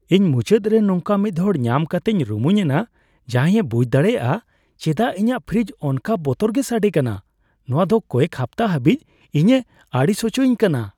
ᱤᱧ ᱢᱩᱪᱟᱹᱫᱨᱮ ᱱᱚᱝᱠᱟ ᱢᱤᱫᱦᱚᱲ ᱧᱟᱢ ᱠᱟᱛᱮᱧ ᱨᱩᱢᱩᱧ ᱮᱱᱟ ᱡᱟᱦᱟᱸᱭ ᱮ ᱵᱩᱡᱷ ᱫᱟᱲᱮᱭᱟᱜᱼᱟ ᱪᱮᱫᱟᱜ ᱤᱧᱟᱹᱜ ᱯᱷᱨᱤᱡᱽ ᱚᱱᱠᱟ ᱵᱚᱛᱚᱨ ᱜᱮᱭ ᱥᱟᱹᱰᱮ ᱠᱟᱱᱟ ᱼ ᱱᱚᱶᱟ ᱫᱚ ᱠᱚᱭᱮᱠ ᱦᱟᱯᱛᱟ ᱦᱟᱹᱵᱤᱡ ᱤᱧᱮ ᱟᱹᱲᱤᱥ ᱦᱚᱪᱚᱭᱤᱧ ᱠᱟᱱᱟ ᱾